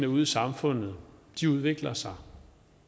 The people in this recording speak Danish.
ude i samfundet udvikler sig